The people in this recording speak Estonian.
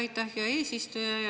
Aitäh, hea eesistuja!